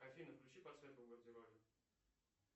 афина включи подсветку в гардеробе